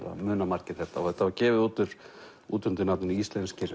það muna margir þetta þetta var gefið út út undir nafninu Íslenskir